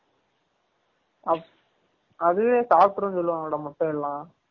அப் அதுவே சப்ட்ரும் சொல்லுவாங்கல முட்டை எல்லாம்